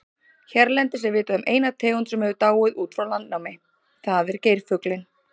Hérlendis er vitað um eina tegund sem hefur dáið út frá landnámi, það er geirfuglinn.